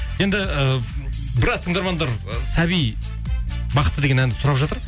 енді і біраз тыңдармандар сәби бақыты деген әнді сұрап жатыр